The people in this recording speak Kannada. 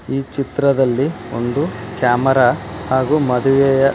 ಈ ಚಿತ್ರದಲ್ಲಿ ಒಂದು ಕ್ಯಾಮರಾ ಹಾಗೂ ಮದುವೆಯ --